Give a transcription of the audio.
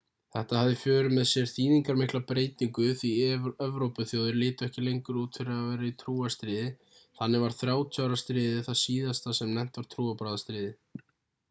þetta hafði í för með sér þýðingarmikla breytingu því evrópuþjóðir litu ekki lengur út fyrir að vera í trúarstríði þannig varð 30 ára stríðið það síðasta sem nefnt var trúarbragðastríð